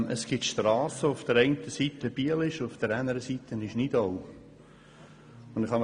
Es gibt Strassen, wo die eine Seite zu Biel und die andere Seite zu Nidau gehört.